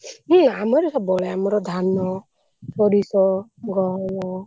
ହୁଁ ଆମର ସବୁବେଳେ ଆମର ଧାନ, ସୋରିଷ, ଗହମ।